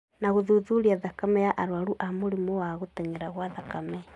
na gũthuthuria thakame ya arũaru a mũrimũ wa gũtenyera gwa thakame.